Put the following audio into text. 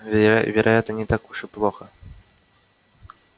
вероятно не так уж и плохо